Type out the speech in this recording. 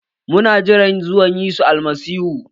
Mu na jiran zuwan Yesu Almasihu.